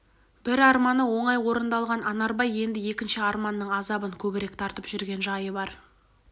бір арманы оңай орындалған анарбай енді екінші арманның азабын көбірек тартып жүрген жайы бар